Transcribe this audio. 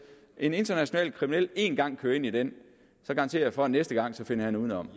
en international kriminel en gang kører ind i den garanterer jeg for næste gang finder udenom